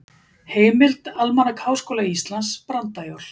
Heimild: Almanak Háskóla Íslands- Brandajól.